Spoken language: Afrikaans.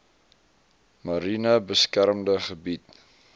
mariene beskermde gebied